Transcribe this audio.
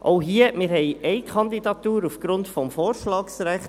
Auch hier: Wir haben Kandidatur aufgrund des Vorschlagsrechts.